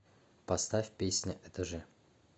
поставь песня этажи